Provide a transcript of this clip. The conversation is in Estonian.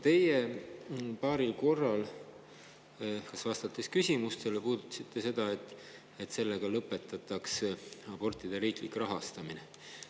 Te paaril korral, vastates küsimustele, puudutasite seda, et sellega lõpetatakse abortide riiklik rahastamine.